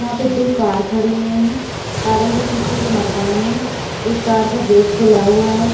यहाँ पे दो कार खड़ी हुई है कारों के पीछे एक मकान है एक कार का गेट खुला हुआ है।